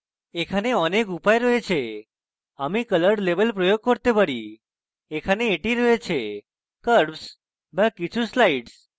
এখানে অনেক উপায় রয়েছে আমি color levels প্রয়োগ করতে thereএটি এখানে রয়েছে curves বা কিছু sliders